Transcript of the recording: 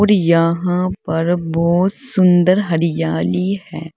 यहां पर बहुत सुंदर हरियाली है।